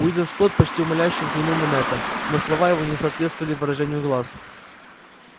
уидон скотт почти умоляюще взглянул на мэтта но слова его не соответствовали выражению глаз